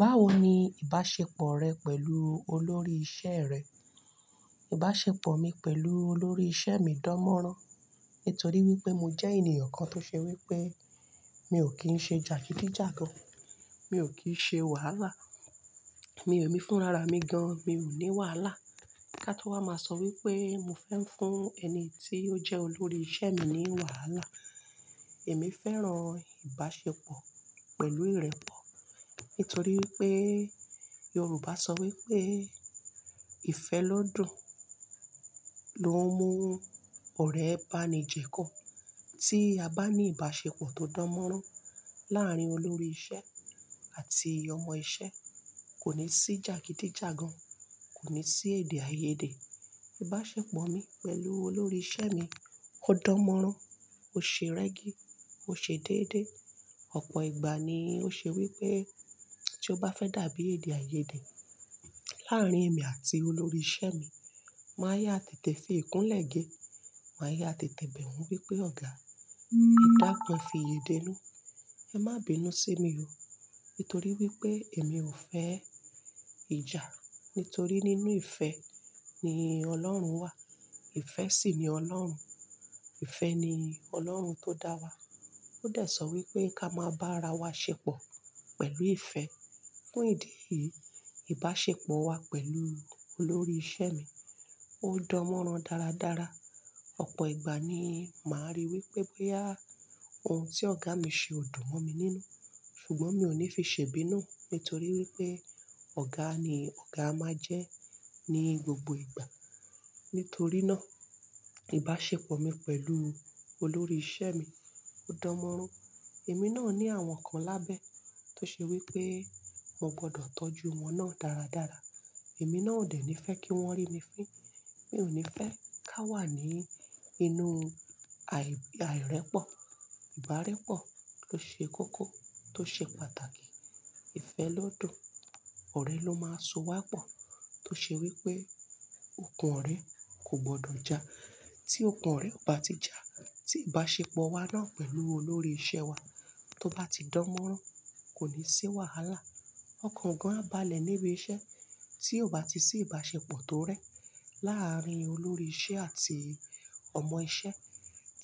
Báwo ni ìbáṣepọ̀ rẹ pẹ̀lú olórí iṣẹ́ rẹ? Ìbáṣepọ̀ mi pẹ̀lú olórí iṣẹ́ mi dánmọ́rán nítorí wípé mo jẹ́ ènìyàn kan tó ṣe wípé mi ò kí ń ṣe jàgídíjàgan, mi ò kí ń ṣe wàhálà, mi ò ní fún ara mi gan, mi ò ní wàhálà. Ká tó wá máa sọ wípé mo fẹ́ ń fún ẹni tí ó jẹ́ olórí iṣẹ́ mi ní wàhálà. Èmi fẹ́ràn ìbáṣepọ̀ pẹ̀lú ìrẹ́pọ̀ nítorí wípé Yorùbá sọ wípé ìfẹ́ lọ́dọ̀ ló ń mú ọ̀rẹ́ bá ni jẹ́kọ. Tí a bá ní ìbáṣepọ̀ tó dánmọ́rán láàárín olórí iṣẹ́ àti ọmọ iṣẹ́ kò ní sí jàgídíjàgan, kò ní sí èdè-àiyèdè. Ìbáṣepọ̀ mi pẹ̀lú olórí iṣẹ́ mi ó dánmọ́rán, ó ṣe rẹ́gí, ó ṣe déédé. Ọ̀pọ̀ ìgbà ni ó ṣe wípé tí ó bá fẹ́ dàbí èdè-àiyèdè láàárín èmi àti olórí iṣẹ́ mi, màá yá tètè fi ìkún lẹ́ge, màá yá tètè bẹ̀ wí pé "ọ̀gá, ìdákun fi èdè lú, ẹ má bí inú ṣe mi o" nítorí wípé èmi ò fẹ́ ìjà, nítorí nínú ìfẹ́ ni Ọlọ́run wà, ìfẹ́ sì ni Ọlọ́run. Ìfẹ́ ni Ọlọ́run tó dá wa. Ó dẹ̀ sọ wípé ká máa bá ara wa ṣepọ̀ pẹ̀lú ìfẹ́. Fún ìdí yìí, ìbáṣepọ̀ wa pẹ̀lú olórí iṣẹ́ mi ó dánmọ́rán dáradára. Ọ̀pọ̀ ìgbà ni màá rí wípé bóyá ohun tí ọ̀gá mi ṣe ò dùn mọ́ mi nínú, ṣùgbọ́n mi ò ní fi ṣèbí náà nítorí wípé ọ̀gá ni ọ̀gá máa jẹ́ ní gbogbo ìgbà. Nítorí náà ìbáṣepọ̀ mi pẹ̀lú olórí iṣẹ́ mi ó dánmọ́rán. Èmi náà ní àwọn kan lábẹ́ tó ṣe wípé mo gbọdọ̀ tọ́jú wọn náà dáradára. Èmi náà ò dẹ̀ ní fẹ́ kí wọ́n rí mi fín. Mi ò ní fẹ́ ká wà ní inú àì-àìrẹ́pọ̀, ìbárẹ́pọ̀ tó ṣe kókó, tó ṣe pàtàkì. Ìfẹ́ lodun ọ̀rẹ́ ló máa so wá pọ̀ tó ṣe wípé ọkàn ọ̀rẹ́ kò gbọdọ̀ já. Tí ọkàn ọ̀rẹ́ ò bá ti já, tí ìbáṣepọ̀ wa náà pẹ̀lú olórí iṣẹ́ wa tó bá ti dánmọ́rán kò ní sí wàhálà. Ọkàn gan á balẹ̀ níbi iṣẹ́ tí ò bá ti sí ìbáṣepọ̀ tó rẹ́ láàárín olórí iṣẹ́ àti ọmọ iṣẹ́.